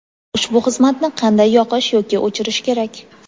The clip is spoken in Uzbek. Ushbu xizmatni qanday yoqish yoki o‘chirish kerak?.